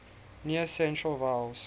near central vowels